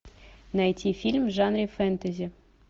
найти фильм в жанре фэнтези